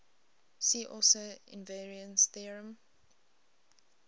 see also invariance theorem